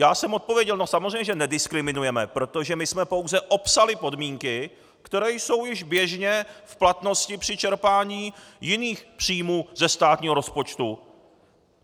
Já jsem odpověděl: No, samozřejmě že nediskriminujeme, protože my jsme pouze opsali podmínky, které jsou již běžně v platnosti při čerpání jiných příjmů ze státního rozpočtu.